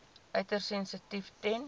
uiters sensitief ten